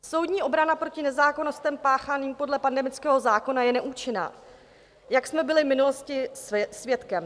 Soudní obrana proti nezákonnostem páchaným podle pandemického zákona je neúčinná, jak jsme byli v minulosti svědkem.